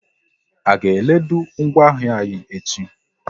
A ga e lodu ngwa ahịa anyi echi?